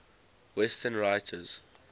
western writers